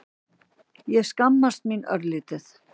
Ég skammaðist mín örlítið.